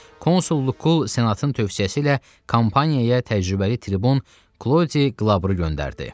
Konsul Luku Senatın tövsiyəsi ilə Kampaniyaya təcrübəli tribun Kloid Qlabru göndərdi.